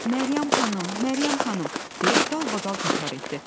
Məryəm xanım, Məryəm xanım, deyə dalbadal təkrar etdi.